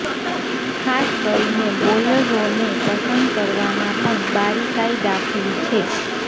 ખાસ કરીને બોલરોને પસંદ કરવામાં પણ બારીકાઇ દાખવી છે